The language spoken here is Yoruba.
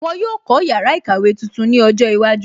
Wọn yóò kó yàrá ìkàwé tuntun ní ọjọ́ iwájú